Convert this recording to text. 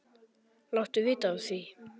Láttu vita af því.